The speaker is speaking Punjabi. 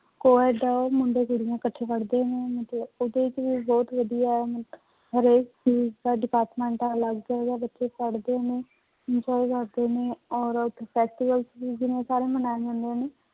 ਉਹ ਏਦਾਂ ਮੁੰਡੇ ਕੁੜੀਆਂ ਇਕੱਠੇ ਪੜ੍ਹਦੇ ਨੇ ਮਤਲਬ ਉਹਦੇ ਚ ਵੀ ਬਹੁਤ ਵਧੀਆ ਹਰੇਕ ਚੀਜ਼ ਦਾ department ਅਲੱਗ ਹੈਗਾ ਬੱਚੇ ਪੜ੍ਹਦੇ ਨੇ enjoy ਕਰਦੇ ਨੇ ਔਰ ਉੱਥੇ festivals ਵੀ ਜਿਵੇਂ ਸਾਰੇ ਮਨਾਏ ਜਾਂਦੇ ਨੇ।